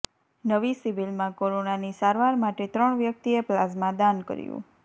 નવી સિવિલમાં કોરોનાની સારવાર માટે ત્રણ વ્યક્તિએ પ્લાઝમા દાન કર્યુ